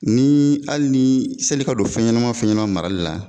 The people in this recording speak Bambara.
Ni hali ni sanni i ka don fɛnɲɛnama fɛɲɛnama marali la.